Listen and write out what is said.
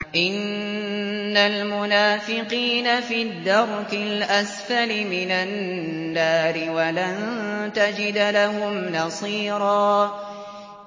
إِنَّ الْمُنَافِقِينَ فِي الدَّرْكِ الْأَسْفَلِ مِنَ النَّارِ وَلَن تَجِدَ لَهُمْ نَصِيرًا